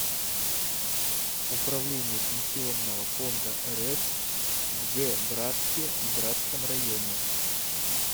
управление пенсионного фонда рф в г братске и братском районе